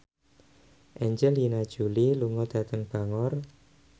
Angelina Jolie lunga dhateng Bangor